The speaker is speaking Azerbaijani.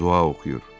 Dua oxuyur.